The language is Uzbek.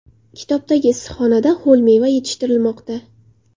Kitobdagi issiqxonada ho‘l meva yetishtirilmoqda.